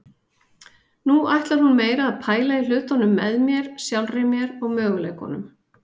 Nú ætlar hún meira að pæla í hlutunum með mér, sjálfri mér og möguleikunum.